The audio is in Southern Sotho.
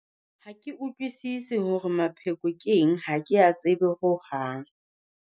Ha ke utlwisise hore mapheko ke eng, ha ke a tsebe hohang.